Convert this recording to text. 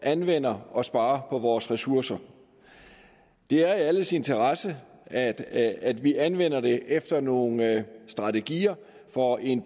anvender og sparer på vores ressourcer det er i alles interesse at at vi anvender dem efter nogle strategier for en